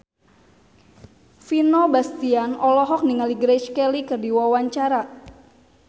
Vino Bastian olohok ningali Grace Kelly keur diwawancara